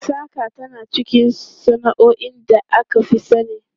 Saƙa tana cikin sana'o'in da aka fi sani.